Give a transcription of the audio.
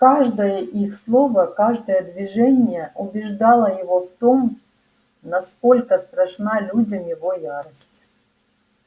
каждое их слово каждое движение убеждало его в том насколько страшна людям его ярость